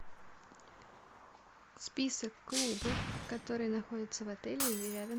список клубов которые находятся в отеле или рядом